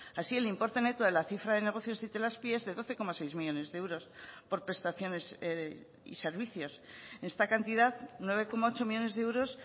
así el importe neto de la cifra de negocios de itelazpi es de doce coma seis millónes de euros por prestaciones y servicios esta cantidad nueve coma ocho millónes de euros